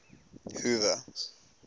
hoover